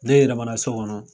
Ne yɛlɛmana so kɔnɔ